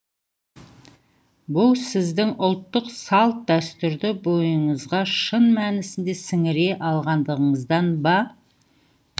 бұл сіздің ұлттық салт дәстүрді бойыңызға шын мәнісінде сіңіре алғандығыңыздан ба